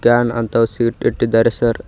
Ran ಅಂತ ಒಸಿ hit ಹಿಟ್ಟಿದ್ದಾರೆ ಸರ್ .